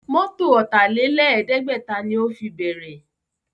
Mọ́tọ̀ Ọ̀tàlẹ̀ẹ́dẹ́gbẹ̀ta ni ó fi bẹ̀rẹ̀